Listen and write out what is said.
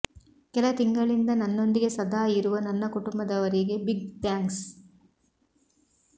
ಕೆಲ ತಿಂಗಳಿಂದ ನನ್ನೊಂದಿಗೆ ಸದಾ ಇರುವ ನನ್ನ ಕುಟುಂಬದವರಿಗೆ ಬಿಗ್ ಥ್ಯಾಂಕ್ಸ್